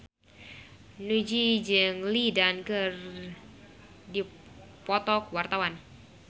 Nugie jeung Lin Dan keur dipoto ku wartawan